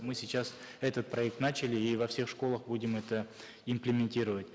мы сейчас этот проект начали и во всех школах будем это иплементировать